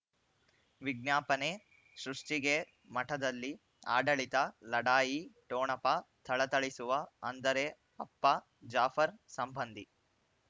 ವಿಜ್ಞಾಪನೆ ಸೃಷ್ಟಿಗೆ ಮಠದಲ್ಲಿ ಆಡಳಿತ ಲಢಾಯಿ ಠೊಣಪ ಥಳಥಳಿಸುವ ಅಂದರೆ ಅಪ್ಪ ಜಾಫರ್ ಸಂಬಂಧಿ